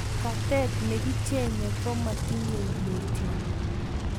katet nekichenyei komotinyei mutyo